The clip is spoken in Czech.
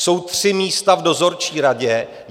Jsou tři místa v dozorčí radě.